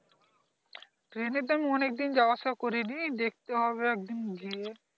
train এ এ তো অনেক দিন যাওয়া আসা করি নি দেখতে হবে একদিন গিয়ে